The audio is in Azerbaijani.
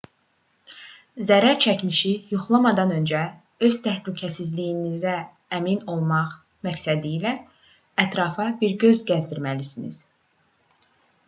zərərçəkmişi yoxlamadan öncə öz təhlükəsizliyinizə əmin olmaq məqsədilə ətrafa bir göz gəzdirməlisiniz